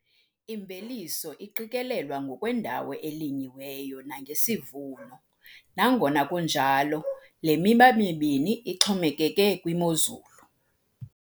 Imveliso iqikelelwa ngokwendawo elinyiweyo nangesivuno, nangona kunjalo, le miba mibini ixhomekeke kwimozulu.